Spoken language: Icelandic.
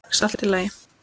Sex allt í lagi.